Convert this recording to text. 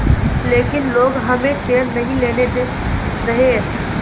लेकिन लोग हमें चैन नहीं लेने दे रहे